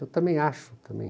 Eu também acho, também.